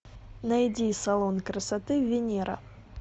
найди салон красоты венера